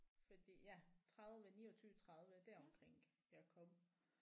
Fordi ja 30 29 30 deromkring jeg kom